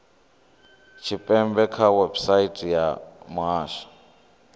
tshipembe kha website ya muhasho